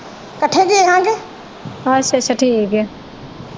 ਅੱਛਾ ਅੱਛਾ ਠੀਕ ਆ।